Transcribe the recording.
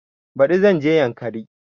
Baɗi zan je yankari